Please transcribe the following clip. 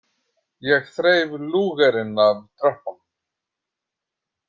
Ég þreif Lúgerinn af tröppunum.